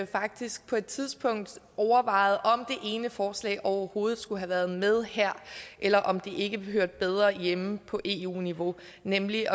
faktisk på et tidspunkt overvejede om det ene forslag overhovedet skulle have været med her eller om det ikke hørte bedre hjemme på eu niveau nemlig